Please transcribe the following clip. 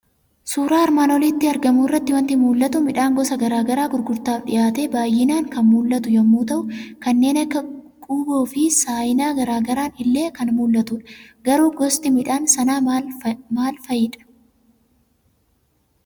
Suura armaan olitti argamu irraa wanti mul'atu; midhaan gosa garaagara gurgurtaaf dhiyaatee baay'inaan kan mul'atu yommuu ta'uu kanneen akka quuboofi saayinaa garaagaran illee kan mul'atudha. Garuu gosti midhaan sanaa maal maal fa'idhaa?